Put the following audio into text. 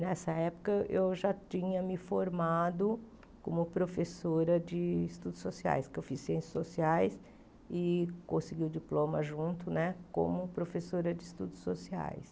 Nessa época, eu já tinha me formado como professora de estudos sociais, que eu fiz ciências sociais e consegui o diploma junto né, como professora de estudos sociais.